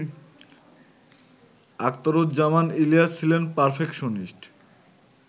আখতারুজ্জামান ইলিয়াস ছিলেন পারফেকশনিস্ট